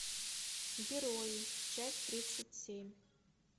герои часть тридцать семь